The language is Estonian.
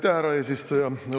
Aitäh, härra eesistuja!